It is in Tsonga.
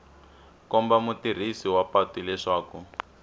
komba mutirhisi wa patu leswaku